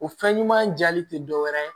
O fɛn ɲuman jaali tɛ dɔwɛrɛ ye